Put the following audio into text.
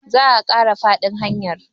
za a Kara faɗin hanyar